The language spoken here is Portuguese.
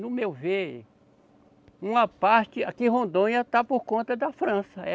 No meu ver, uma parte, aqui em Rondônia, está por conta da França.